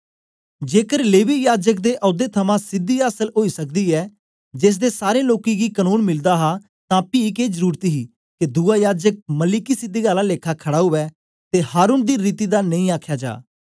जेकर लेवी याजक दे औदे थमां सिद्धि आसल ओई सकदी ऐ जेसदे सारै लोकें गी कनून मिलदा हा तां पी के जरुरत ही के दुआ याजक मलिकिसिदक आला लेखा खड़ा उवै ते हारून दी रीति दा नेई आखया जा